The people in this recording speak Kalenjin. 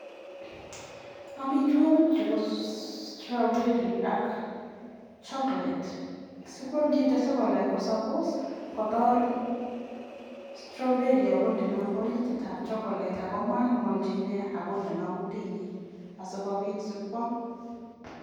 amitwagii chuu ko (strawberry)ak (chokolet)yacheii kotor asikopit kwam